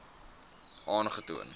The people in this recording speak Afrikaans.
aangetoon